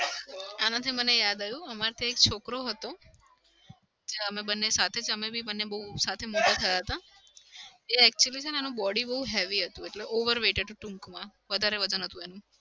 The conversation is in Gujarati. આનાથી મને યાદ આવ્યું અમાર ત્યાં એક છોકરો હતો. અમે બંને જ સાથે અમે બી બંને બઉ સાથે મોટા થયા હતા. એ actually છે ને એનું body બઉ heavy હતું એટલે over weight હતું ટૂંકમાં. વધારે વજન હતું એનું.